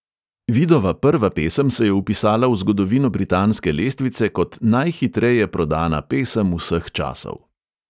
Vidova prva pesem se je vpisala v zgodovino britanske lestvice kot "najhitreje prodana pesem vseh časov".